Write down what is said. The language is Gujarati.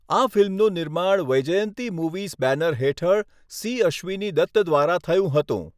આ ફિલ્મનું નિર્માણ વૈજયંતી મૂવીઝ બેનર હેઠળ સી. અશ્વિની દત્ત દ્વારા થયું હતું.